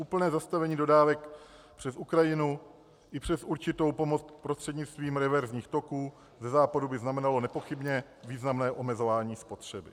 Úplné zastavení dodávek přes Ukrajinu i přes určitou pomoc prostřednictvím reverzních toků ze západu by znamenalo nepochybně významné omezování spotřeby.